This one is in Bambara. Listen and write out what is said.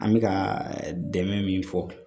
An bɛ ka dɛmɛ min fɔ